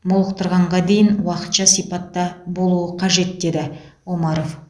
молықтырғанға дейін уақытша сипатта болуы қажет деді омаров